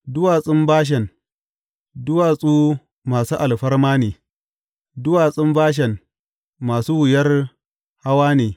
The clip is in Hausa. Duwatsun Bashan, duwatsu masu alfarma ne; duwatsun Bashan masu wuyar hawa ne.